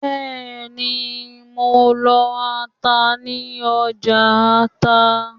Bẹ́ẹ̀ni, lọ ata ní ọjà Ọta